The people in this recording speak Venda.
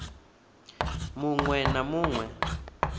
mu ṅ we na mu